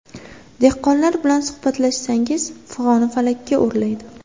Dehqonlar bilan suhbatlashsangiz, fig‘oni falakka o‘rlaydi.